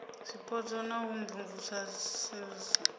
zwipotso na u imvumvusa srsa